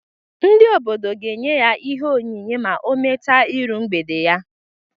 Ndi obodo ga enye ya ihe onyinye ma ọ mecha iru mgbede ya.